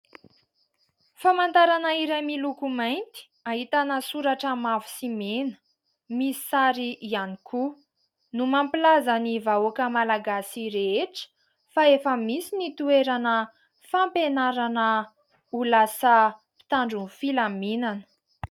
Famantarana iray miloko mainty ahitana soratra mavo sy mena, misy sary ihany koa no mampilaza ny vahoaka Malagasy rehetra fa efa misy ny toerana fampianarana ho lasa mpitandro ny filaminana.